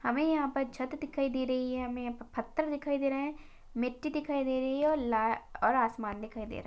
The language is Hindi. हमे यहाँ पर छत दिखाई दे रही है हमे यहाँ पर पत्थर दिखाई दे रहे है मिट्टी दिखाई दे रही है और ला और आसमान दिखाई दे रहा है।